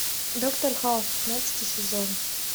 доктор хаус пятнадцатый сезон